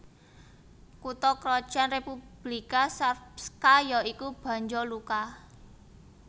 Kutha krajan Republika Srpska ya iku Banja Luka